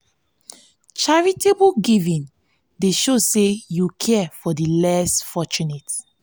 charitable giving dey show say yu care for di less fortunate.